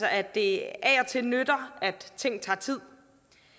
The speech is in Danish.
at det af og til nytter og at ting tager tid